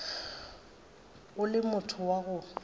o le motho wa go